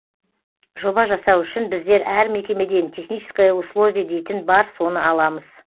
жоба жасау үшін біздер әр мекемеден техническое условие дейтін бар соны аламыз